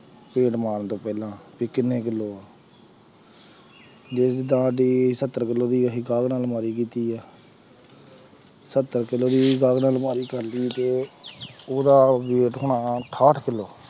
paint ਮਾਰਨ ਤੋਂ ਪਹਿਲਾਂ ਵੀ ਕਿੰਨੇ ਕਿੱਲੋ ਆ ਜਿੱਦਾਂ ਜੇ ਸੱਤਰ ਕਿੱਲੋ ਦੀ ਅਸੀਂ ਗਾਹਕ ਨਾਲ ਅਲਮਾਰੀ ਕੀਤੀ ਹੈ ਸੱਤਰ ਕਿੱਲੋ ਦੀ ਗਾਹਕ ਨਾਲ ਅਲਮਾਰੀ ਕਰ ਲਈ ਜੇ ਉਹਦਾ weight ਹੋਣਾ ਅਠਾਹਟ ਕਿੱਲੋ